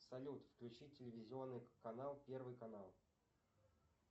салют включи телевизионный канал первый канал